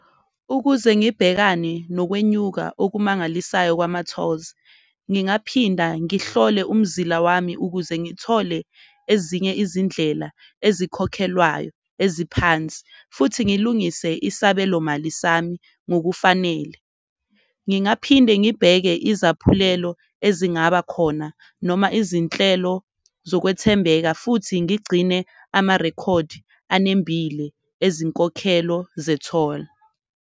Ukuze ngibhekane nokwenyuka okumangalisayo kwama-tolls, ngingaphinda ngihlole umzila wami ukuze ngithole ezinye izindlela ezikhokhelwayo eziphansi, futhi ngilungise isabelomali sami ngokufanele. Ngingaphinde ngibheke izaphulelo ezingaba khona noma izinhlelo zokwethembeka, futhi ngigcine amarekhodi anembile ezinkokhelo zetholi.